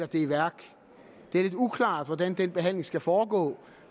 det er lidt uklart hvordan den behandling skal foregå